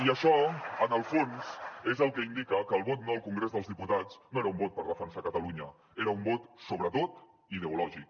i això en el fons és el que indica que el vot no al congrés dels diputats no era un vot per defensar catalunya era un vot sobretot ideològic